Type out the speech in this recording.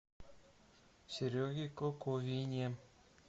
сереге коковине